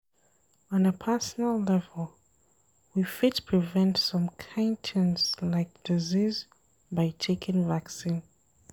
On a personal level, we fit prevent some kimd things like disease by taking vaccine